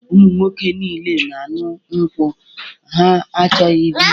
Ụmụ nwoke niile na-aṅụ nkwụ, ha achọghị biya